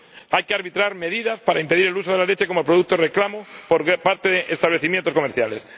Hay que arbitrar medidas para impedir el uso de la leche como producto de reclamo por parte de establecimientos comerciales.